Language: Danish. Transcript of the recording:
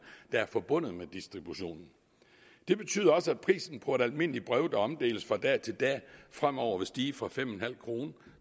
der er forbundet med distributionen det betyder også at prisen på et almindeligt brev der omdeles fra dag til dag fremover vil stige fra fem kroner